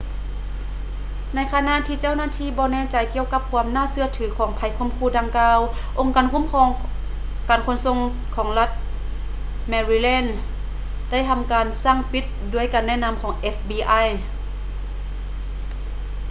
ໃນຂະນະທີ່ເຈົ້າໜ້າທີ່ບໍ່ແນ່ໃຈກ່ຽວກັບຄວາມໜ້າເຊື່ອຖືຂອງໄພຂົ່ມຂູ່ດັ່ງກ່າວ ອົງການຄຸ້ມຄອງການຂົນສົ່ງຂອງລັດ ແມຣີ່ແລນ maryland ໄດ້ທຳການສັ່ງປິດ ດ້ວຍການແນະນຳຂອງ fbi